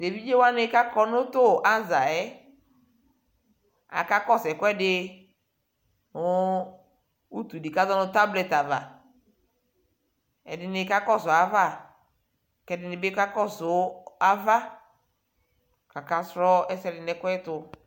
tɛ ɛvidzɛ wani kʋ akɔ nʋ tʋ azaɛ aka kɔsʋ ɛkʋɛdi mʋ ʋtʋ di kazɔnʋ tablet aɣa, ɛdini kakɔsʋ aɣa kʋ ɛdinibi kakɔsʋ aɣa kʋ aka srɔ ɛkʋɛdi nʋ ɛkʋɛtʋ